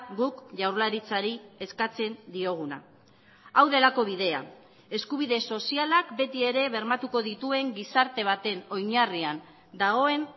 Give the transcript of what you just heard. guk jaurlaritzari eskatzen dioguna hau delako bidea eskubide sozialak beti ere bermatuko dituen gizarte baten oinarrian dagoen